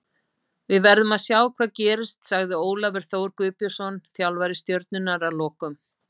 Við verðum að sjá hvað gerist, sagði Ólafur Þór Guðbjörnsson þjálfari Stjörnunnar að lokum.